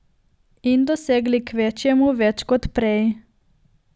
In dosegli kvečjemu več kot prej ...